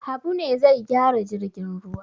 Habu ne zai gyara jirgin ruwa.